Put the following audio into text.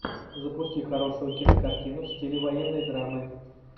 запусти хорошую кинокартину в стиле военной драмы